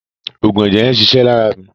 Òògùn ẹ̀jẹ̀ yẹn ń ṣiṣẹ́ lára mi.